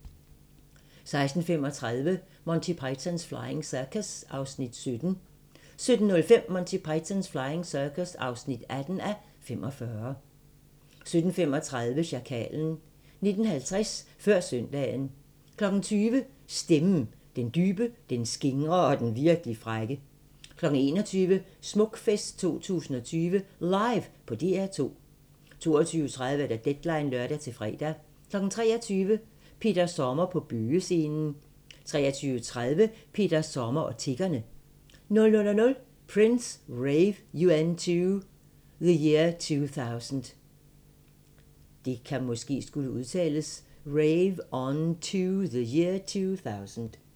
16:35: Monty Python's Flying Circus (17:45) 17:05: Monty Python's Flying Circus (18:45) 17:35: Sjakalen 19:50: Før Søndagen 20:00: Stemmen - den dybe, den skingre og den virkelig frække 21:00: Smukfest 2020 LIVE på DR2 22:30: Deadline (lør-fre) 23:00: Peter Sommer på Bøgescenen 23:30: Peter Sommer og Tiggerne 00:00: Prince: Rave UN2 the Year 2000